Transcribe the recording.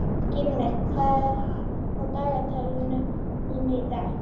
Skrýmir, hvað er á dagatalinu mínu í dag?